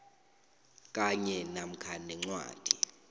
kanye namkha nencwadi